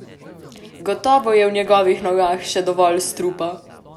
Gotovo je v njegovih nogah še dovolj strupa!